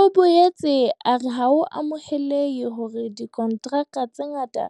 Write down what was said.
O boetse a re ha ho amoheleha hore dikontraka tse ngata